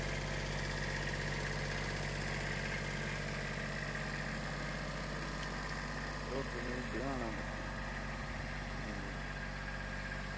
അങ്ങനെ മയിലിൻ്റെ original ഇത് കാണാൻ പറ്റി